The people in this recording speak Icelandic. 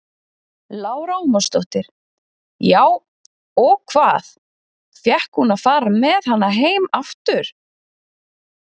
Lára Ómarsdóttir: Já, og hvað, fékk hún að fara með hana heim aftur?